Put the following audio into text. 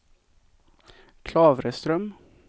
Klavreström